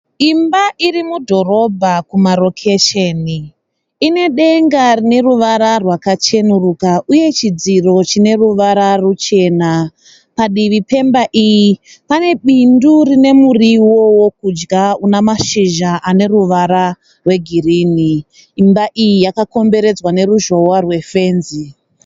Imba irimudhorobha kumarokesheni ine denga rine ruvara rwakachenerukira uye chidziro chine ruvara ruchena, padivi pemba iyi pane bindu rine murivo wekudya unemashizha ane ruvara rwegirini. Imba iyi yakakomberedzwa reruzhowa rwefenzi.